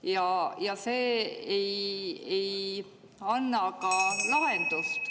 See ei ka lahendust.